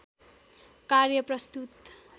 कार्य प्रस्तुत